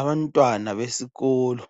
Abantwana besikolo